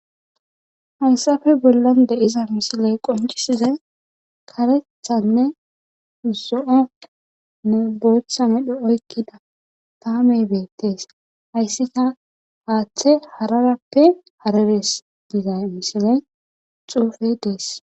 Hayssafe bollan deiza misiley qoncisizay karethanne zo7onne booththane dho7oykkida tamey beettees hayssi ta haaththe hararappe hareres diza misiley xuufe dees.